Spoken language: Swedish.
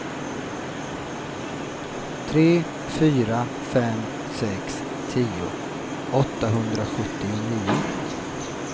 tre fyra fem sex tio åttahundrasjuttionio